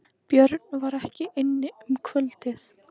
Björn var ekki inni um kvöldið.